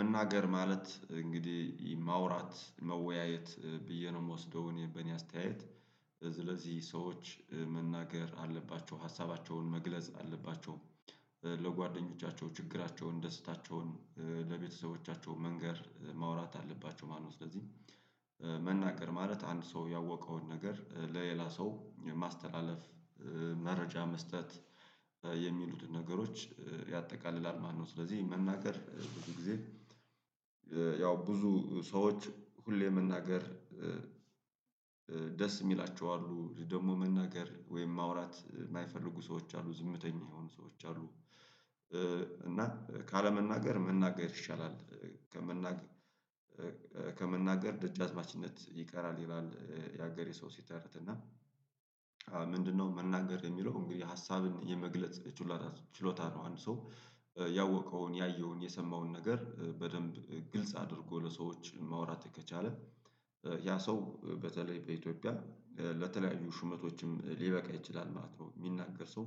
መናገር ማለት እንግዲህ ማውራት መወያየት ብዬ ነው የምወስደው በእኔ አስተያየት ስለዚህ ሰዎች መናገር አለባቸው ሀሳባቸውን መግለጽ አለባቸው። ለጓደኞቻቸው ችግራቸውን ደስታቸውን ለቤተሰቦቻቸው መንገር ማውራት አለባቸው ማለት ነው። ስለዚህ መናገር ማለት አንድ ሰው ያወቀውን ነገር ለሌላ ሰው የማስተላለፍ መረጃ መስጠት የሚሉትን ነገሮች ያጠቃልላል ማለት ነው። ስለዚህ መናገር ብዙ ጊዜ ያው ብዙ ሰዎች ሁሌ መናገር ደስ የሚላቸው አሉ ደግሞ መናገር ወይም ማውራት የማይፈልጉ ሰዎች አሉ ዝምተኛ የሆኑ ሰዎች አሉ። እና ካለመናገር መናገር ይሻላል። ከመናገር ደጃዝማችነት ይቀራል ይላል ያገሬ ሰው ሲተርት እና ምንድነው መናገር የሚለው እንግዲህ ሀሳብን የመግለጽ ችሎታ ነው? አንድ ሰው ያወቀውን ያየውን የሰማውን ነገር በደንብ ግልጽ አድርጎ ለሰዎች ማውራት ከቻለ ያ ሰው በተለይ በኢትዮጵያ ለተለያዩ ሹመቶችም ሊበቃ ይችላል ማለት ነው። ሚናገር ሰው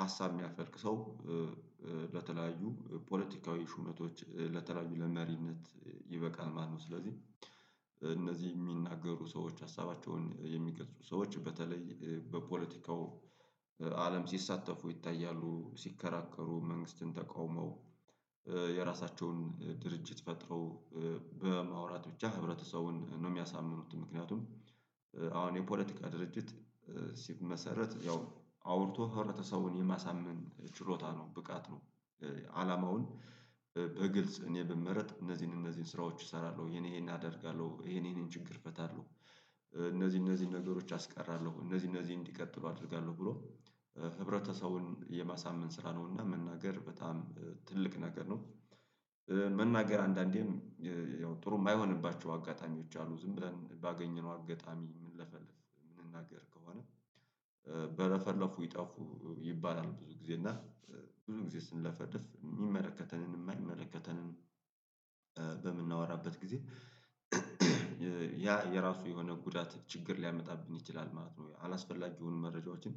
ሀሳብ የሚያፈልቅ ሰው ለተለያዩ ፖለቲካዊ ሹመቶች ለተለያዩ ለመሪነት ይበቃል። ማነው ስለዚህ እነዚህ የሚናገሩ ሰዎች ሀሳባቸውን የሚገልጹ ሰዎች በተለይ በፖለቲካው አለም ሲሳተፉ ይታያሉ። ሲከራከሩ መንግስትን ተቃውመው የራሳቸውን ድርጅት ፈጥረው በማውራት ብቻ ህብረተሰቡን የሚያሳምኑት ምክንያቱም አሁን የፖለቲካ ድርጅት ሲመሰረት ያው አውርቶ ህብረተሰቡን የማሳመን ችሎታ ነው ብቃት ነው። አላማውን በግልጽ እኔ ብመረጥ እነዚህን እነዚህን ስራዎች እሰራለሁ የኔ ይሄን አደርጋለሁ ይሄን ይሄንን ችግር እፈታለሁ። እነዚህ እነዚህን ነገሮች አስቀራለሁ እነዚህ እነዚህ እንዲቀጥሉ አደርጋለሁ ብሎ ህብረተሰቡን የማሳመን ስራ ነው እና መናገር በጣም ትልቅ ነገር ነው። መናገር አንዳንዴም ያው ጥሩ የማይሆንባቸው አጋጣሚዎች አሉ ዝም ብለን ባገኘነው አጋጣሚ ምንለፈልፍ የምንናገር ከሆነ በረፈለፉ ይጠፉ ይባላል ብዙ ጊዜ እና ብዙ ጊዜ ስንለፈልፍ የሚመለከተንን የማይመለከተንን በምናወራበት ጊዜ ያ የራሱ የሆነ ጉዳት ችግር ሊያመጣብን ይችላል ማለት ነው። አላስፈላጊውን መረጃዎችን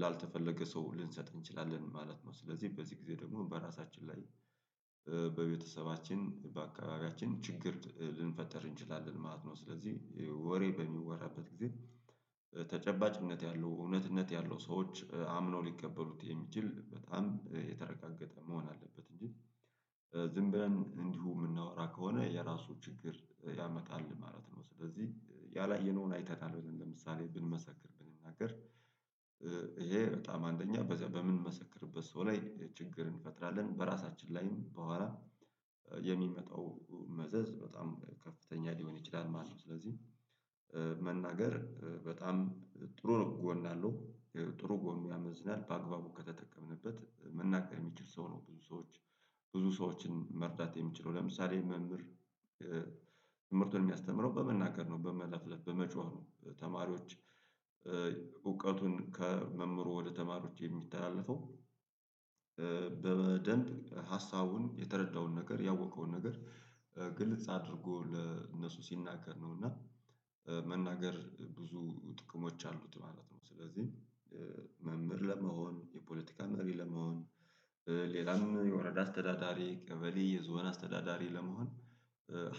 ላልተፈለገ ሰው ልንሰጥ እንችላለን ማለት ነው። ስለዚህ በዚህ ጊዜ ደግሞ በራሳችን ላይ በቤተሰባችን በአካባቢያችን ችግር ልንፈጥር እንችላለን ማለት ነው። ስለዚህ ወሬ በሚወራበት ጊዜ ተጨባጭነት ያለው እውነትነት ያለው ሰዎች አምነው ሊቀበሉት የሚችል በጣም የተረጋገጠ መሆን አለበት እንጂ ዝም ብለን እንዲሁ የምናወራ ከሆነ የራሱ ችግር ያመጣል ማለት ነው። ስለዚህ ያላየነውን አይተናል ብለን ለምሳሌ ብንመሰክር ብንናገር ይሄ በጣም አንደኛ በምንመሰክርበት ሰው ላይ ችግርን እንፈጥራለን በራሳችን ላይም በአዋራ የሚመጣው መዘዝ በጣም ከፍተኛ ሊሆን ይችላል ማለት ነው። ስለዚህ መናገር በጣም ጥሩ ነው። ጎን አለው ጥሩ ጎን ያመዝናል በአግባቡ ከተጠቀምንበት መናገር የሚችል ሰው ነው ብዙ ሰዎች ብዙ ሰዎችን መርዳት የሚችለው ለምሳሌ መምህር መምህርነቱን የሚያስተምረው በመናገር ነው በመለፍለፍ በመጮህ ነው። ተማሪዎች እውቀቱን ከመምህሩ ወደ ተማሪዎች የሚተላለፈው በደንብ ሀሳቡን የተረዳውን ነገር ያወቀውን ነገር ግልጽ አድርጎ ለእነሱ ሲናገር ነው እና መናገር ብዙ ጥቅሞች አሉት ማለት ነው። ስለዚህ መምህር ለመሆን የፖለቲካ መሪ ለመሆን ሌላም የወረዳ አስተዳዳሪ ቀበሌ የዞን አስተዳዳሪ ለመሆን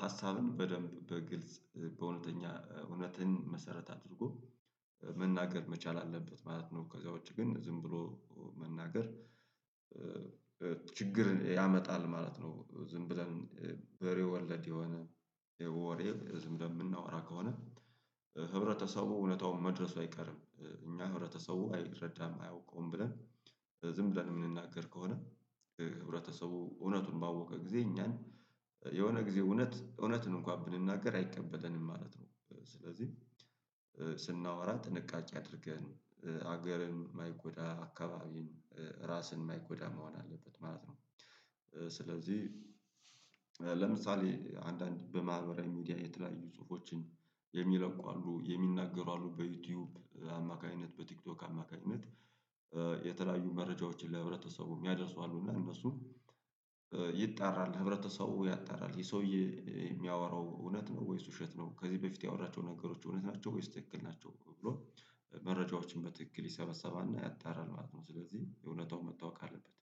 ሀሳብን በደንብ በግልጽ በእውነተኛ እውነትን መሰረት አድርጎ መናገር መቻል አለበት ማለት ነው። ከዛ ውጪ ግን ዝም ብሎ መናገር ችግር ያመጣል ማለት ነው። ዝም ብለን በሬ ወለድ የሆነ ወሬ ዝም ብለን የምናወራ ከሆነ ህብረተሰቡ እውነታውን መድረሱ አይቀርም። እና ህብረተሰቡ አይረዳም አያውቀውም ብለን ዝም ብለን የምንናገር ከሆነ ህብረተሰቡ እውነቱን ባወቀ ጊዜ እኛን የሆነ ጊዜ እውነት እውነትን እንኳን ብንናገር አይቀበለንም ማለት ነው። ስለዚህ ስናወራ ጥንቃቄ አድርገን ሀገርን የማይጎዳ አካባቢን ራስን የማይጎዳ መሆን አለበት ማለት ነው። ስለዚህ ለምሳሌ አንዳንድ በማህበራዊ ሚዲያ የተለያዩ ጽሁፎችን የሚለቁ አሉ የሚናገሩ አሉ በዩቲዩብ አማካኝነት በቲክቶክ አማካኝነት የተለያዩ መረጃዎችን ለህብረተሰቡ ሚያደርሱ አሉ እና እነሱም ይጣራል ህብረተሰቡ ያጣራል የሰውዬ የሚያወራው እውነት ነው ወይስ ውሸት ነው ከዚህ በፊት ያወራቸው ነገሮች እውነት ናቸው ወይስ ትክክል ናቸው ብሎ መረጃዎችን በትክክል ይሰበሰባል እና ያጣራል ማለት ነው። ስለዚህ እውነታው መታወቅ አለበት